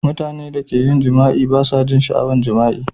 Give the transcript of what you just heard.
Mutanen da ka jima'i ba su jin sha'awan jima'i.